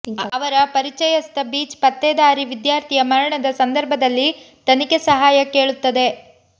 ಅವರ ಪರಿಚಯಸ್ಥ ಬೀಚ್ ಪತ್ತೇದಾರಿ ವಿದ್ಯಾರ್ಥಿಯ ಮರಣದ ಸಂದರ್ಭದಲ್ಲಿ ತನಿಖೆ ಸಹಾಯ ಕೇಳುತ್ತದೆ